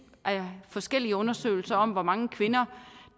forskellige undersøgelser om hvor mange kvinder